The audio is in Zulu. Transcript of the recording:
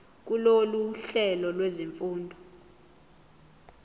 kulolu hlelo lwezifundo